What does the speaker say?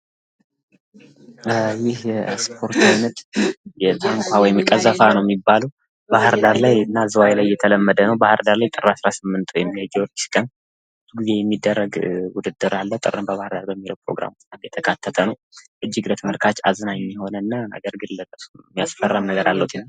ይህ የኤክስፖርት አይነት ታንኳ ወይም ቀሰፋ ነው ሚባለው። ባህርዳር ላይ እና ዝዋይ ላይ የተለመደ ነው። ባህርዳር ላይ ጥር አስራስምንት ወይም የጊወርጊስ ጊዜ የሚደረግ ዉድድር አለ። ጥርን በባህር ዳር በሚለው ፕሮግራም የተካተተ ነው። እጅግ አዝናኝ የሆነና ነገር ግን የሚያስፈራ ነገርም አለው ትንሽ።